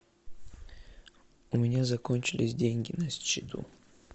у меня закончились деньги на счету